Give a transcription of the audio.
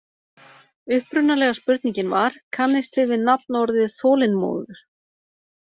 Upprunalega spurningin var: Kannist þið við nafnorðið þolinmóður?